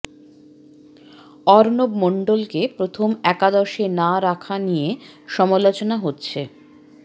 অর্ণব মণ্ডলকে প্রথম একাদশে না রাখা নিয়ে সমালোচনা হচ্ছে